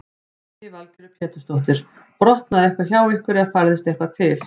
Lillý Valgerður Pétursdóttir: Brotnaði eitthvað hjá ykkur eða færðist eitthvað til?